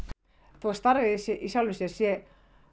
þótt starfið sé